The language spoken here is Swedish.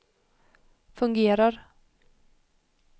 fungerar